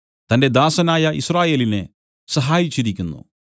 തന്റെ ദാസനായ യിസ്രായേലിനെ സഹായിച്ചിരിക്കുന്നു